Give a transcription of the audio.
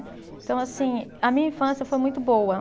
Então, assim, a minha infância foi muito boa.